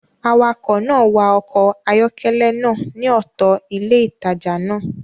Awakọ̀ náà wa ọkọ̀ ayọ́kẹ́lẹ́ náà ní ọ̀tọ̀ ilé ìtajà náà